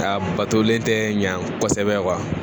Aa batolen tɛ ɲɛ kosɛbɛ